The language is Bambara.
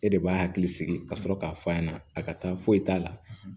E de b'a hakili sigi ka sɔrɔ k'a f'a ɲɛna a ka taa foyi t'a la